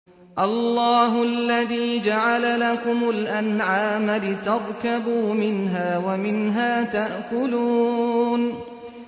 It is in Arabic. اللَّهُ الَّذِي جَعَلَ لَكُمُ الْأَنْعَامَ لِتَرْكَبُوا مِنْهَا وَمِنْهَا تَأْكُلُونَ